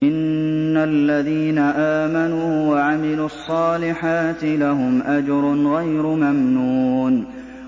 إِنَّ الَّذِينَ آمَنُوا وَعَمِلُوا الصَّالِحَاتِ لَهُمْ أَجْرٌ غَيْرُ مَمْنُونٍ